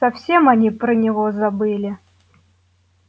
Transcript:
совсем они про него забыли